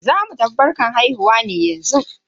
Zamu tafi gaisuwan haihuwa ne yanzu.